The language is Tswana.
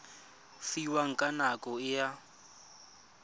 fiwang ka nako e a